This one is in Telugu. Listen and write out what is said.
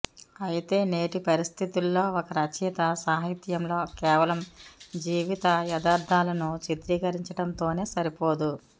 అయితే నేటి పరిస్థితుల్లో ఒక రచయిత సాహిత్యంలో కేవలం జీవిత యథార్థాలను చిత్రీకరించటంతోనే సరిపోదు